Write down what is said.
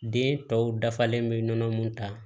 Den tɔw dafalen bɛ nɔnɔ mun ta